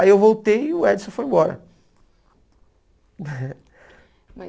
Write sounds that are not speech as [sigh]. Aí eu voltei e o Edson foi embora. [laughs] Mas